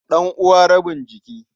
Ɗan'uwa rabin jiki.